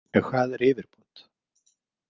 En hvað er yfirbót?